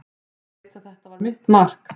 Ég veit að þetta var mitt mark.